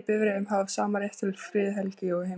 í bifreiðum hafa sama rétt til friðhelgi og heima hjá sér.